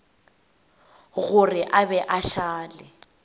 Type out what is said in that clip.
gore a be a šale